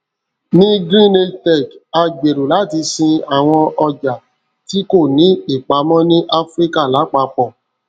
ní greenage tech a gbèrò láti sin àwọn ọjà tí kò ní ìpamọ ní áfíríkà lápapọ